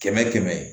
Kɛmɛ kɛmɛ